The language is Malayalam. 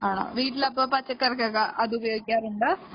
അപ്പോ വീട്ടിലൊക്കെ പച്ചക്കറിക്കൊക്കെ അത് ഉപയോഗിക്കാറുണ്ട്